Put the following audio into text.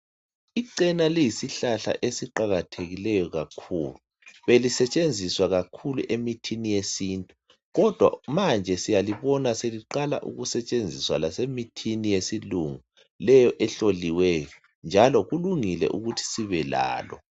Icena liyisihlahla esiqakathekileyo kakhulu. Belisetshenziswa kakhulu emithini yesintu, kodwa manje siyalibona seliqala ukusetshenziswa lasemithini yesilungu leyo ehloliweyo, njalo kulungile ukuthi sibe lalo.